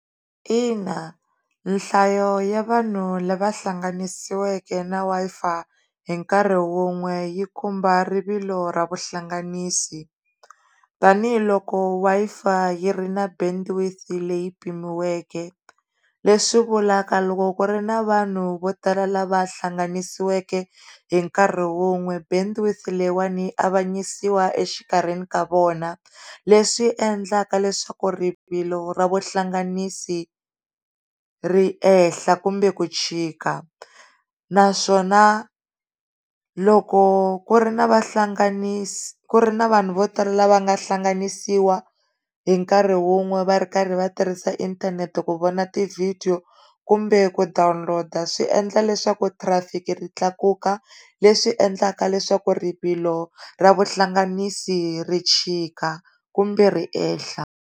Ina, nhlayo ya vanhu lava hlanganisiwile na Wi-Fi hi nkarhi wun'we yi khumba rivilo ra vuhlanganisi tanihiloko wa Wi-Fi yi ri na bendwith leyi pimiweke le swi vulavula loko ku ri na vanhu vo tala lava hlanganisiwile hi nkarhi wun'we bendwith leyiwana yi avanyisiwa exikarhini ka vona leswi endlaka leswaku rivilo ra vuhlanganisi ri ehenhla kumbe ku chika, naswona loko ku ri na vahlanganisi, ku ri na vanhu vo tala lava nga hlanganisiwa hi nkarhi wun'we va ri karhi vatirhisa inthanete ku vona ti vhidiyo kumbe dowloader swi endla leswaku trafic ri tlakuka leswi endlaka leswaku rivilo ra vuhlanganisi ri chika kumbe riehla.